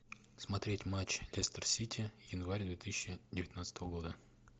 смотреть матч лестер сити январь две тысячи девятнадцатого года